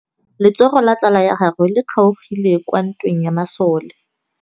Letsôgô la tsala ya gagwe le kgaogile kwa ntweng ya masole.